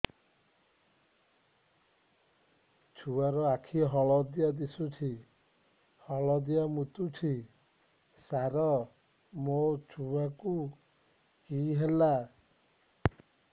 ଛୁଆ ର ଆଖି ହଳଦିଆ ଦିଶୁଛି ହଳଦିଆ ମୁତୁଛି ସାର ମୋ ଛୁଆକୁ କି ହେଲା